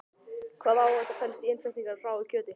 Hvaða áhætta felst í innflutningi á hráu kjöti?